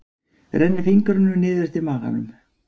Rennir fingrunum niður eftir maganum.